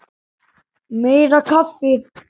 Meira kaffi!